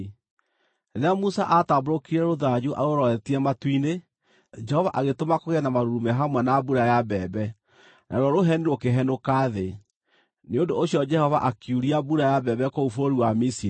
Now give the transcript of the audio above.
Rĩrĩa Musa aatambũrũkirie rũthanju arũroretie matu-inĩ, Jehova agĩtũma kũgĩe na marurumĩ hamwe na mbura ya mbembe, naruo rũheni rũkĩhenũka thĩ. Nĩ ũndũ ũcio Jehova akiuria mbura ya mbembe kũu bũrũri wa Misiri;